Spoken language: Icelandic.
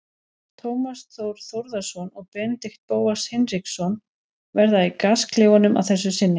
Tómas Þór Þórðarson og Benedikt Bóas Hinriksson verða í gasklefanum að þessu sinni.